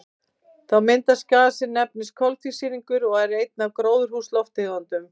Þá myndast gas sem nefnist koltvísýringur og er ein af gróðurhúsalofttegundunum.